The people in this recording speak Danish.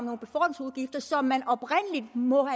der som man oprindelig må